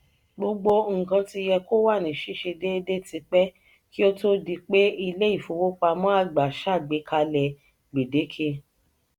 "gbogbo nkan ti yẹ kó wa ni ṣiṣe déédé tipẹ ki o tó di pé ilé ìfowópamọ́ àgbà ṣàgbékalẹ̀ gbedeke.